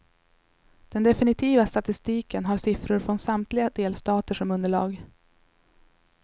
Den definitiva statistiken har siffror från samtliga delstater som underlag.